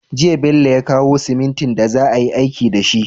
Jiya Bello ya kawo simintin da za a yi aiki dashi